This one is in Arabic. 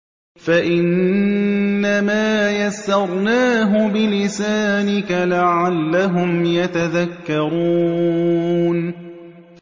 فَإِنَّمَا يَسَّرْنَاهُ بِلِسَانِكَ لَعَلَّهُمْ يَتَذَكَّرُونَ